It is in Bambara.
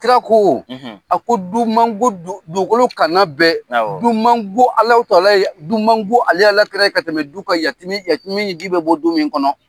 Kira ko a ko du ko dugukolo kana bɛɛ du ko man go aki ka tɛmɛ du kan yatimƐ ɲɛji bɛ bɔ du min kɔnɔ.